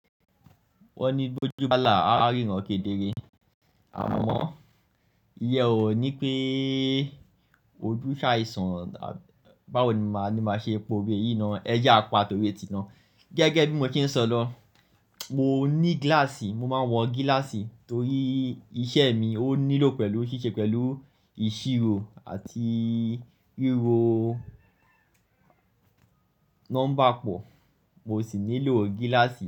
Wọ́n ní bí ojú bá là, a ríran kedere. Àmọ́, ìyè ó ní kí ojú sáyi sàn. Báwo ní máa ṣe po òwe yìí náà ẹ ja pá towe ti náà. Gẹ́gẹ́ bí mo ti ń sọ lọ, mo ní gíláàsì, mo máa ń wọ gíláàsì torí iṣẹ́ mi ó nílò pẹ̀lú ṣíṣe pẹ̀lú ìṣirò àti ríro nọ́mbà pọ̀, mo sì nílò gíláàsì.